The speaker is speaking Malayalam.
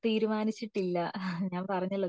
തീരുമാനിച്ചിട്ടില്ല ഞാൻ പറഞ്ഞല്ലോ